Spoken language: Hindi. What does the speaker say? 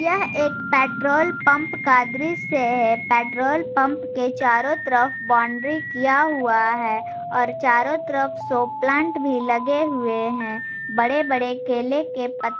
यह एक पेट्रोल पंप का दृश्य है पेट्रोल पंप के चारों तरफ बाउंड्री किया हुआ है और चारों तरफ शो प्लांट भी लगे हुए हैं बड़े बड़े किले के प --